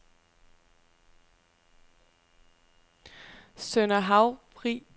Sønder Havrvig